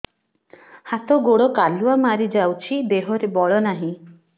ହାତ ଗୋଡ଼ କାଲୁଆ ମାରି ଯାଉଛି ଦେହରେ ବଳ ନାହିଁ